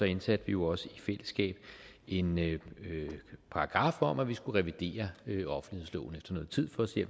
indsatte vi jo også i fællesskab en paragraf om at vi skulle revidere offentlighedsloven efter noget tid for at se